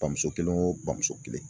Bamuso kelen o bamuso kelen